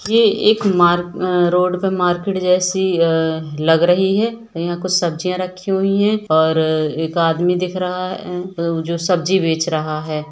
ये एक मार्क आ रोड पर मार्केट जैसी ए लग रही है यहां कुछ सब्जियां रखी हुई है और अ एक आदमी दिख रहा आ जो सब्जी बेच रहा है।